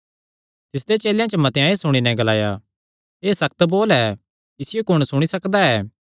तिसदे चेलेयां च मतेआं एह़ सुणी नैं ग्लाया एह़ सक्त बोल ऐ इसियो कुण सुणी सकदा ऐ